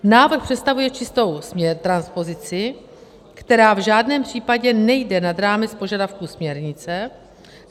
Návrh představuje čistou transpozici, která v žádném případě nejde nad rámec požadavků směrnice.